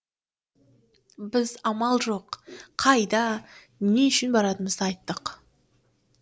біз амал жоқ қайда не үшін баратынымызды айттық